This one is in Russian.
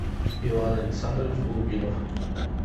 иван александрович голубинов